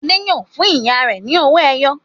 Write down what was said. Adé yóò fún ìyá rẹ̀ ní owó-ẹyọ!